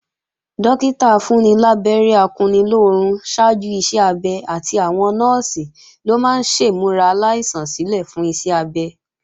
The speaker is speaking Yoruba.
Dọ́kítà afúnnilábẹ́rẹ́ akunnilóorun ṣáájú iṣẹ́-abẹ àti àwọn Nọ́ọ̀sì ló máa ń ṣèmúra aláìsàn sílè fún iṣẹ́ abẹ